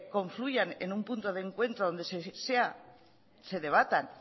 confluyan en un punto de encuentro donde sea se debatan